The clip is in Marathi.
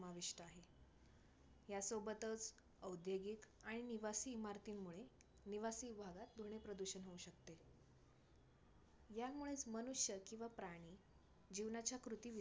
या सोबतच औद्योगिक आणि निवासी इमारतींमुळे निवासी विभागात ध्वनी प्रदूषण होऊ शकते. यांमुळेच मनुष्य किंवा प्राणी जीवनाच्या कृती